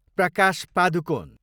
Prakash Padukone